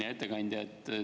Hea ettekandja!